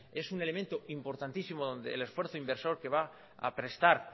es un elemento importantísimo donde el esfuerzo inversor que va a prestar